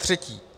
Zatřetí.